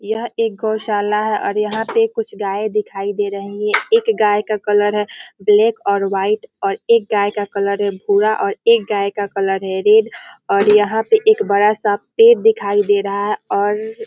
यह एक गौशाला है और यहाँ पे कुछ गाय दिखाई दे रही है एक गाय का कलर है ब्लैक और वाइट और एक गाय का कलर है भूरा और एक गाय का कलर है रेड और यहाँ पे एक बड़ा सा पेड़ दिखाई दे रहा है और --